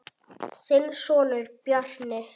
Þinn sonur, Bjarni.